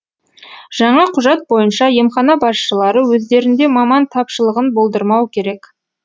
жаңа құжат бойынша емхана басшылары өздерінде маман тапшылығын болдырмау керек